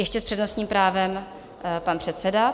Ještě s přednostním právem pan předseda.